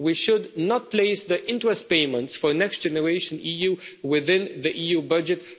We should not place the interest payments for Next Generation EU within the EU budget.